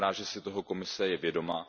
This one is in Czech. Já jsem rád, že si je toho Komise vědoma.